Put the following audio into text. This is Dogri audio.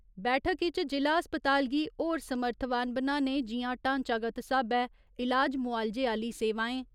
बैठक इच जि'ला अस्पताल गी होर समर्थवान बनाने जि'यां ढांचागत स्हाबै इलाज मुआलजे आह्‌ली सेवाएं।